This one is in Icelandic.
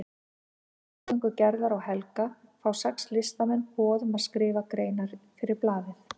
Fyrir milligöngu Gerðar og Helga fá sex listamenn boð um að skrifa greinar fyrir blaðið.